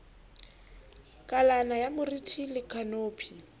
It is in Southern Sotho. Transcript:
kalana ya moriti le khanopi